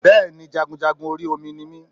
Bẹ́ẹ̀ni jagunjagun orí Omi ni mi